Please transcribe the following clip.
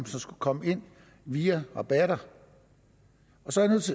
som skulle komme ind via rabatter